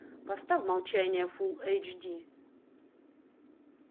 поставь молчание фулл эйч ди